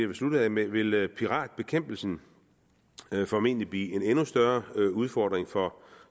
vil slutte af med vil vil piratbekæmpelsen formentlig blive en endnu større udfordring for